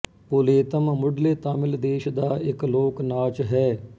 ਪੁਲੀਅਤਮ ਮੁੱਢਲੇ ਤਾਮਿਲ ਦੇਸ਼ ਦਾ ਇੱਕ ਲੋਕ ਨਾਚ ਹੈ